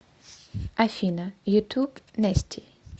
афина ютуб нэсти